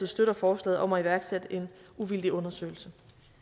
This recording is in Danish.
støtter forslaget om at iværksætte en uvildig undersøgelse